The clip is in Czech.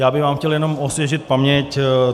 Já bych vám chtěl jenom osvěžit paměť.